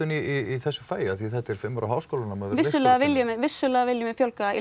í þessu fagi þetta er fimm ára háskólanám vissulega viljum vissulega viljum við fjölga í